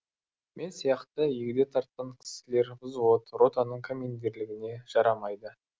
мен сияқты егде тартқан кісілер взвод ротаның командирлігіне жарамайды